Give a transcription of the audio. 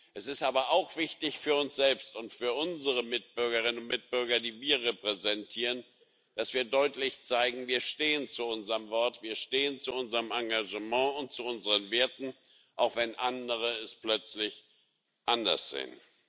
Es ist aber auch wichtig für uns selbst und für unsere Mitbürgerinnen und Mitbürger, die wir repräsentieren, dass wir deutlich zeigen Wir stehen zu unserem Wort, wir stehen zu unserem Engagement und zu unseren Werten, auch wenn andere es plötzlich anders sehen.